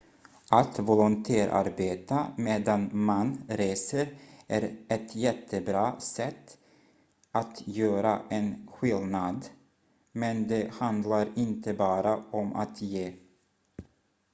att volontärarbeta medan man reser är ett jättebra sätt att göra en skillnad men det handlar inte bara om att ge